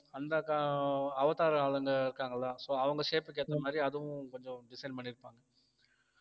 அந்த அஹ் அவதார் ஆளுங்க இருக்காங்கல்ல so அவங்க shape க்கு ஏத்த மாதிரி அதுவும் கொஞ்சம் design பண்ணிருப்பாங்க